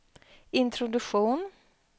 introduktion